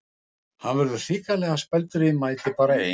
Hann verður hrikalega spældur ef ég mæti bara ein!